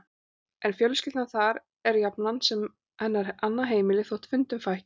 En fjölskyldan þar er jafnan sem hennar annað heimili þótt fundum fækki, og